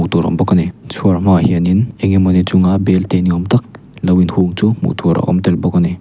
tur a awmbawk ani chhuar hma ah hian in enge mawni chunga belte ni awmtak l o in hung chu hmuhtur a awm telbawk ani.